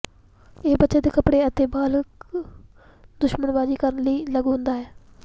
ਇਹ ਬੱਚੇ ਦੇ ਕੱਪੜੇ ਅਤੇ ਬਾਲਗ ਦੂਸ਼ਣਬਾਜ਼ੀ ਕਰਨ ਲਈ ਲਾਗੂ ਹੁੰਦਾ ਹੈ